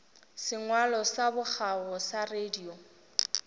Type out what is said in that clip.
sengwalo sa bokgabo sa radio